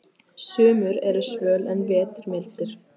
Sumur eru svöl en vetur mildir.